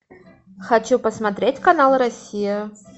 хочу посмотреть канал россия